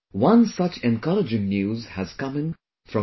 One such encouraging news has come in from U